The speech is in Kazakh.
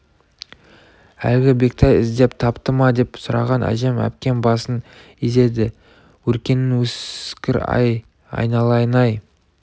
әлгі бектай іздеп тапты ма деп сұраған әжем әпкем басын изеді өркенің өскір-ай айналайын-ай